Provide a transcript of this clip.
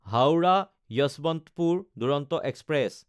Howrah Yesvantpur Duronto express